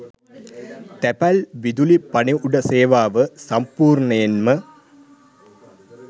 තැපැල් විදුලි පණිවුඩ සේවාව සම්පූර්ණයෙන්ම